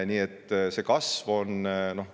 Nii et kasv on olemas.